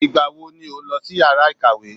Ìgbà wo ni ó ń lọ sí yàrá ìkàwé?